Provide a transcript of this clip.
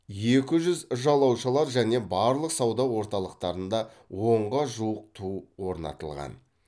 екі жүз жалаушалар және барлық сауда орталықтарында онға жуық ту орнатылған